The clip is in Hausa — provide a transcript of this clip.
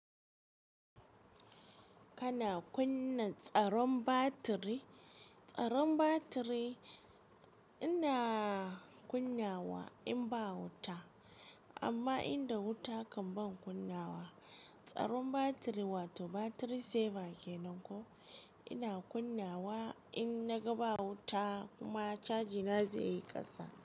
Kana kunna tsaron batiri? Tsaron batiri ina kunnawa in ba wuta, amma inda wuta kan ban kunnawa. Tsaron batiri wato battery saver kenan ko ina kunnawa in naga ba wuta kuma caji na zai yi kasa.